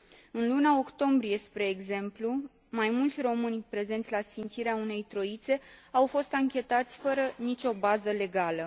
În luna octombrie, spre exemplu, mai mulți români prezenți la sfințirea unei troițe au fost anchetați fără nicio bază legală.